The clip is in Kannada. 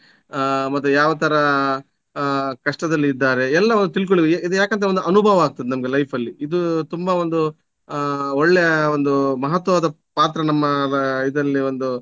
ಮತ್ತೆ ಯಾವು ತರ ಆ ಕಷ್ಟದಲ್ಲಿ ಇದ್ದಾರೆ ಎಲ್ಲ ತಿಳ್ಕೊಲ್~ ಇದು ಯಾಕಂತ ಒಂದು ಅನುಭವ ಆಗ್ತದೆ ನಮ್ಗೆ life ಅಲ್ಲಿ ಇದು ತುಂಬ ಒಂದು ಆ ಒಳ್ಳೆಯ ಒಂದು ಮಹತ್ವವಾದ ಪಾತ್ರ ನಮ್ಮ ಇದರಲ್ಲಿ ಒಂದು